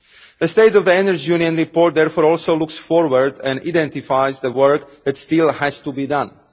The State of the Energy Union Report therefore also looks forward and identifies the work that still has to be done